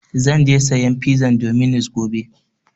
Zan je sayan pizan dominus gobe.